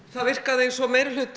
það virkaði eins og